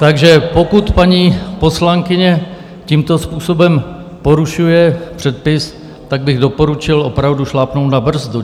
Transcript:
Takže pokud paní poslankyně tímto způsobem porušuje předpis, tak bych doporučil opravdu šlápnout na brzdu.